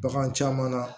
Bagan caman na